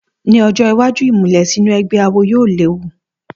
Ní ọjọ́ iwájú, ìmùlẹ̀ sínú ẹgbẹ́ awo yóò léwu